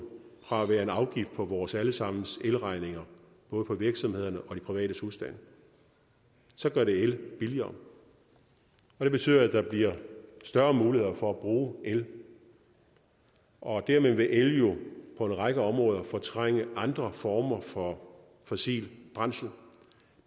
fra at være en afgift på vores alle sammens elregninger både virksomhedernes og de private husstandes så gør det el billigere og det betyder at der bliver større muligheder for at bruge el og dermed vil el jo på en række områder fortrænge andre former for fossile brændsler